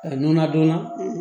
A n'a donna